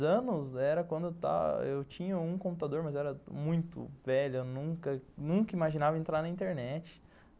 Dez anos era quando eu tinha um computador, mas era muito velho, eu nunca nunca imaginava entrar na internet.